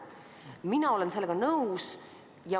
Mina olen sellega nõus.